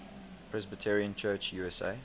presbyterian church usa